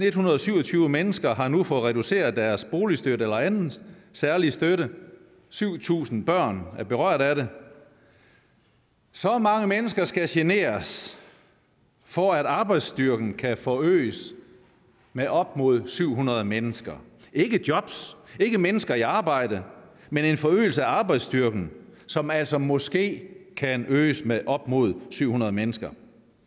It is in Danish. ethundrede og syvogtyve mennesker har nu fået reduceret deres boligstøtte eller anden særlig støtte syv tusind børn er berørt af det så mange mennesker skal generes for at arbejdsstyrken kan forøges med op mod syv hundrede mennesker ikke jobs ikke mennesker i arbejde men en forøgelse af arbejdsstyrken som altså måske kan øges med op mod syv hundrede mennesker